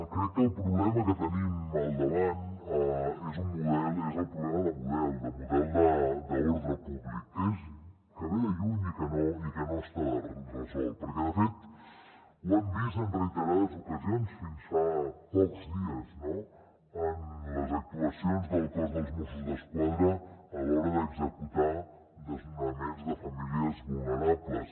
crec que el problema que tenim al davant és el problema de model d’ordre públic que ve de lluny i que no està resolt perquè de fet ho hem vist en reiterades ocasions fins fa pocs dies en les actuacions del cos dels mossos d’esquadra a l’hora d’executar desnonaments de famílies vulnerables